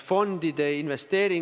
Aitäh!